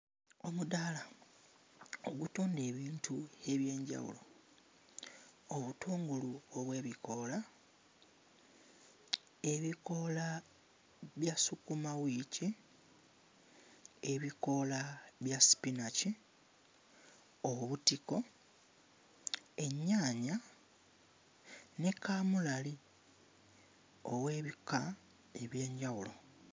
Omudaala ogutunda ebintu eby'enjawulo, obutungulu obw'ebikoola, ebikoola bya ssukumawiiki, ebikoola bya sipinaki, obutiko, ennyaanya ne kaamulali ow'ebika eby'enjawulo.